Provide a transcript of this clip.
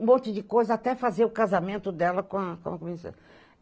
Um monte de coisa, até fazer o casamento dela com a